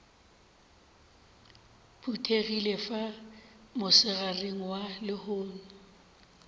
phuthegile fa mosegareng wa lehono